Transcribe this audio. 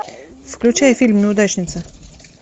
включай фильм неудачница